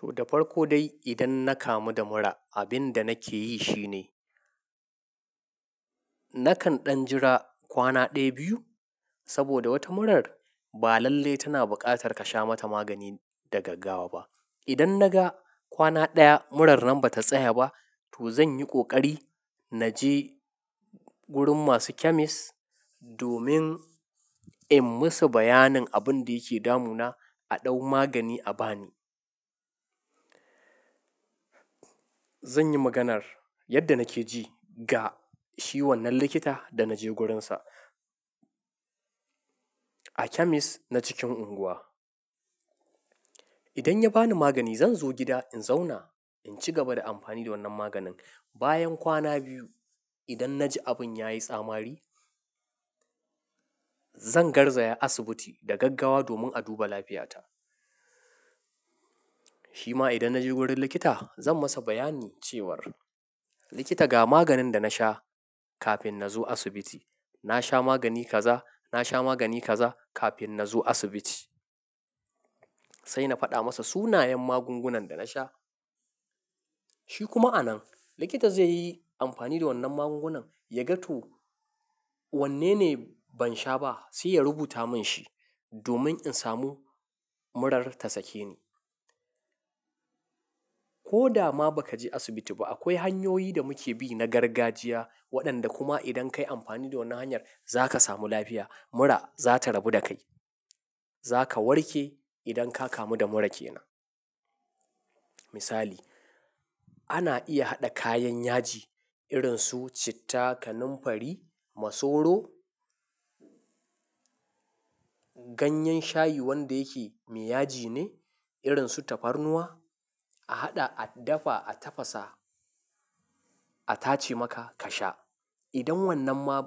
To, da farko dai idan na kamu da mura, abin da nake yi shine nakan ɗan jira kwana ɗaya, biyu. Saboda wata murar ba lalle tana buƙatar ka sha mata magani da gaggawa ba. Idan na ga kwana ɗaya murar nan ba ta tsaya ba, to zan yi ƙoƙari na je gurin masu chemist domin in yi musu bayanin abin da yake damuna, a ɗau magani a ba ni. Zan yi maganar yadda nake ji ga shi wannan likita da na je gurinsa a chemist na cikin unguwa. Idan ya ba ni magani, zan zo gida in zauna in ci gaba da amfani da wannan maganin. Bayan kwana biyu, idan na ji abin ya yi tsamari, zan garzaya asibiti da gaggawa domin a duba lafiyata. Shima idan na je wurin likita zan masa bayani cewar, "Likita ga maganin da na sha kafin na zo asibiti. Na sha magani kaza, na sha magani kaza kafin na zo asibiti." Sai na faɗa masa sunayen magungunan da na sha. Shi kuma a nan likita zai yi amfani da wannan magungunan ya ga to wanne ne ban sha ba sai ya rubuta min shi domin in samu murar ta sake ni. Ko da ma ba ka je asibiti ba, akwai hanyoyi da muke bi na gargajiya waɗanda kuma idan ka yi amfani da wannan hanyar za ka samu lafiya. Mura za ta rabu da kai. Za ka warke idan ka kamu da mura ke nan. Misali, ana iya haɗa kayan yaji irin su citta, kanamfari, masoro, ganyen shayi wanda yake mai yaji ne irin su tafarnuwa. A haɗa, a dafa, a tafasa, a tace maka ka sha. Idan wannan ma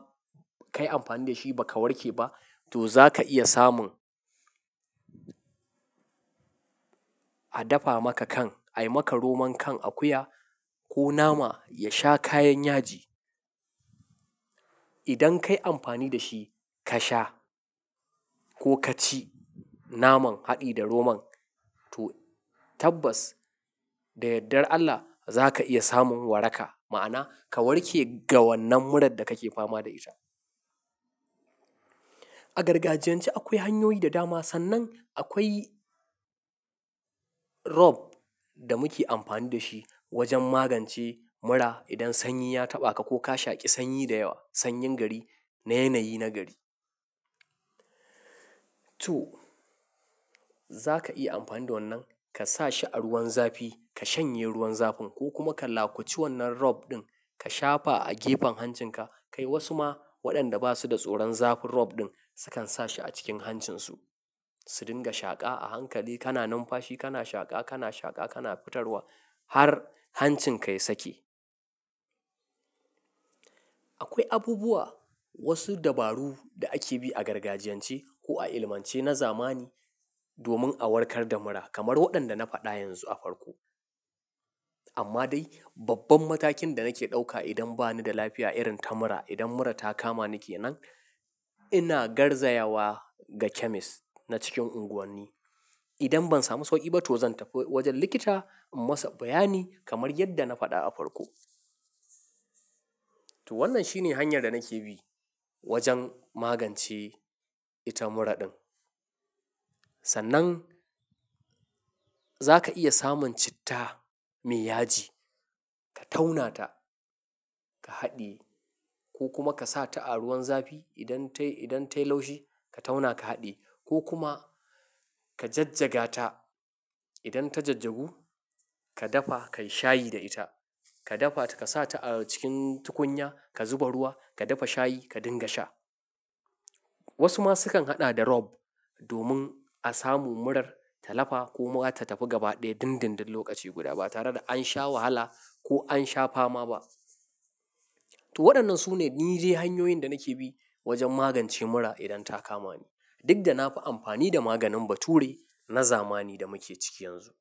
ka yi amfani da shi ba ka warke ba, to za ka iya samun a dafa maka kan, a yi maka roman kan akuya ko nama ya sha kayan yaji. Idan ka yi amfani da shi ka sha ko ka ci naman haɗi da roman, to tabbas da yardar Allah za ka iya samun waraka ma'ana ka warke daga wannan murar da kake fama da ita. A gargajiyance akwai hanyoyi da dama. Sannan akwai rop da muke amfani da shi wajen magance mura idan sanyi ya taɓa ka ko ka shaƙi sanyi da yawa, sanyin gari na yanayi na gari. To, za ka iya amfani da wannan ka sa shi a ruwan zafi ka shanye ruwan zafin ko kuma ka lakaci wannan rop ɗin ka shafa a gefen hancinka. Kai wasu ma waɗanda ba su da tsoron zafin rop ɗin sukan sa shi a cikin hancinsu su dinga shaƙa a hankali. Kana numfashi, kana shaƙa, kana shaƙa, kana fitarwa har hancinka ya sake. Akwai abubuwa, wasu dabaru da ake bi a gargajiyance ko a ilimance na zamani domin a warkar da mura kamar waɗanda na faɗa yanzu a farko. Amma dai babban matakin da nake ɗauka idan ba ni da lafiya irin ta mura, idan mura ta kama ni ke nan, ina garzayawa ga chemist na cikin unguwani. Idan ban samu sauƙi ba to zan tafi wajen likita in masa bayani kamar yadda na faɗa a farko. To wannan shine hanyar da nake bi wajen magance ita mura ɗin. Sannan za ka iya samun citta mai yaji ka tauna ta ka haɗiye ko kuma ka sa ta a ruwan zafi. Idan ta yi laushi ka tauna ka haɗiye ko kuma ka jajjaga ta. Idan ta jajjagu ka dafa ka yi shayi da ita. Ka dafa ka sa ta a cikin tukunya ka zuba ruwa ka dafa shayi ka dinga sha. Wasu ma sukan haɗa da rop domin a samu murar ta lafa ko kuma ta tafi gaba ɗaya dindindin lokaci guda ba tare da an sha wahala ko an sha fama ba. To waɗannan su ni ɗe hanyoyin da nake bi wajen magance mura idan ta kama ni. Duk da na fi amfani da maganin bature na zamani da muke ciki yanzu.